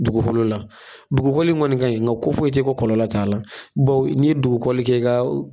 Dugukolo la, dugukɔli kɔni nin ka ɲi nka ko foyi i tɛ ko kɔlɔlɔ t'a la ni ye dugukɔli kɛ ka.